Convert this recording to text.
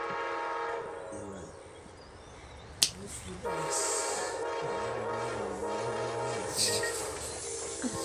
taara embusha ipik inkulupuok ntona, nidurie na niaar emanyisho o moyiaritin ashu idudui